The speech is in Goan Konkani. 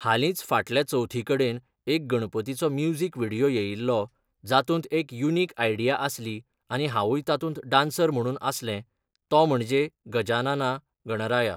हालींच फाटल्या चवथी कडेन एक गणपतीचो म्युझिक विडियो येयिल्लो, जातूंत एक युनिक आयडिया आसली आनी हांवूय तातूंत डान्सर म्हणून आसलें, तो म्हणजे 'गजानाना गणराया'